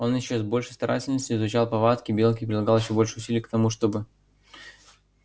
он ещё с большей старательностью изучал повадки белки и прилагал ещё больше усилий к тому чтобы